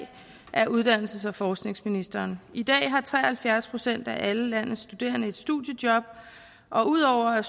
af uddannelses og forskningsministeren i dag har tre og halvfjerds procent af alle landets studerende et studiejob og ud over at